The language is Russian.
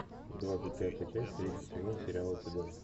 двадцать пятая часть третий сезон сериала цыган